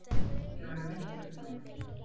Ég var í miklu uppnámi.